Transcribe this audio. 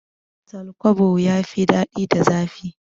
Tal kwabo ya fi dadi da zafi